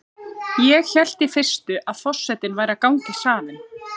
Ég hélt í fyrstu að forsetinn væri að ganga í salinn.